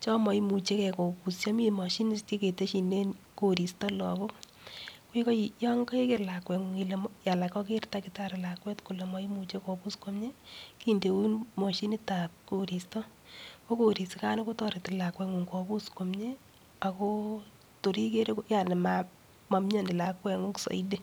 cho maimuchekei kopusio siketeshine koristo lagok.yo. keker lakweng'ung ile maipusi komie anan koker takitari lakwet kole maimuchei kopus komie, kindeun mashinitab koristo. Ko korisikan kotoreti lakwani kopus komie ako tor ikere ko yani mamioni lakweng'ung soiti.